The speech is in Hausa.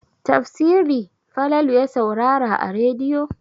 Tafsiri Falalu ya saurara a rediyo.